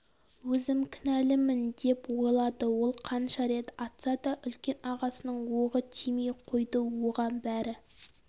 өзім кінәлімін деп ойлады ол қанша рет атса да үлкен ағасының оғы тимей қойды оған бәрі